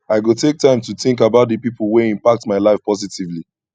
i go take time to think about the pipo wey impacted my life positively